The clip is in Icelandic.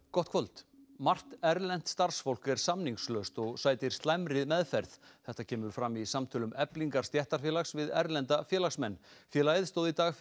gott kvöld margt erlent starfsfólk er samningslaust og sætir slæmri meðferð þetta kemur fram í samtölum Eflingar stéttarfélags við erlenda félagsmenn félagið stóð í dag